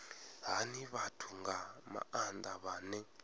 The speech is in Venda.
hani vhathu nga maanda vhane